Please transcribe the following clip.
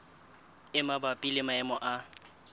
e mabapi le maemo a